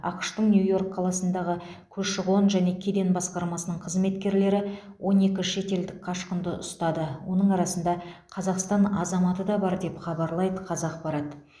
ақш тың нью йорк қаласындағы көші қон және кеден басқармасының қызметкерлері он екі шетелдік қашқынды ұстады оның арасында қазақстан азаматы да бар деп хабарлайды қазақпарат